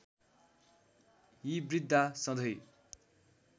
यी वृद्घा सधैं